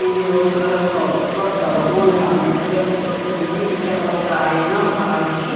ఇది ఒక ప్రభుత్వ స్థలము అని అన్నట్టుగా కనిపిస్తుంది. ఇక్కడ ఒక ఆయన ఒక ఆమె కి --